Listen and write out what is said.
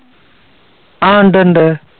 ആ ഉണ്ട്, ഉണ്ട്.